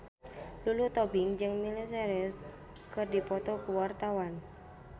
Lulu Tobing jeung Miley Cyrus keur dipoto ku wartawan